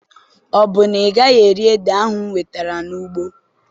Ọ bụ na ị gaghị eri ede ahụ m wetere n'ugbo?